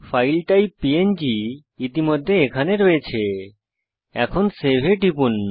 file type প্যাং ইতিমধ্যে এখানে রয়েছে এখন সেভ এ টিপুন